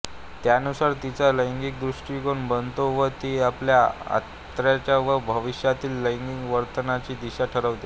त्यानुसार तिचा लैंगिक दृष्टीकोन बनतो व ती आपल्या आत्ताच्या व भविष्यातील लैंगिक वर्तनाची दिशा ठरवते